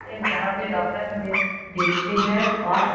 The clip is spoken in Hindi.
ए जहाँ पे डॉक्टर हमे देखते हैं और --